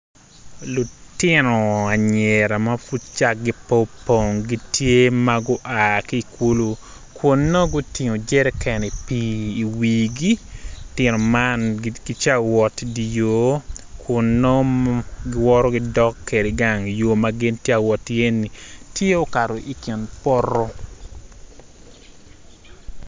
Lutino anyira ma pud cakgi pud po opong gitye ma gua ki ikulu kun nongo gutingo jeriken i pii i wigi lutino man, gica wot idi yo kun nongo giwoto gidok kede gang yo ma gin tia wot iye-ni tye okato i kin poto